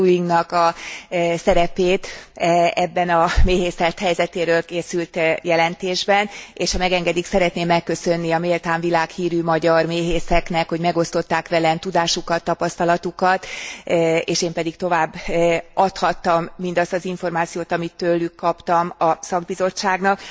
Lullingnak a szerepét ebben a méhészet helyzetéről készült jelentésben, és ha megengedik, szeretném megköszönni a méltán világhírű magyar méhészeknek, hogy megosztották velem tudásukat, tapasztalatukat, és én pedig továbbadhattam mindazt az információt, amit tőlük kaptam, a szakbizottságnak.